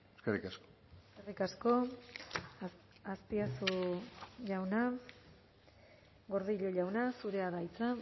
eskerrik asko eskerrik asko azpiazu jauna gordillo jauna zurea da hitza